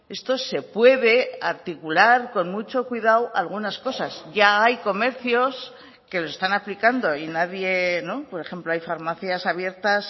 esto se puede articular con mucho cuidado algunas cosas ya hay comercios que lo están aplicando y nadie por ejemplo hay farmacias abiertas